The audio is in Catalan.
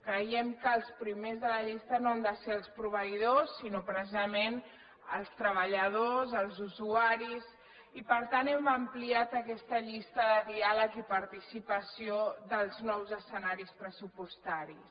creiem que els primers de la llista no han de ser els proveïdors sinó precisament els treballadors els usuaris i per tant hem ampliat aquesta llista de diàleg i participació dels nous escenaris pressupostaris